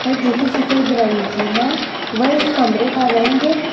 है जो कि सफेद रंग की है व इस कमरे का रंग--